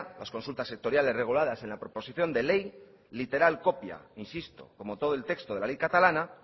las consultas sectoriales reguladas en la proposición de ley literal copia insisto como todo el texto de la ley catalana